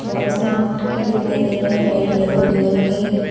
बहोत सारे मटके दिखाई दे रहे रेड येलो कलर के।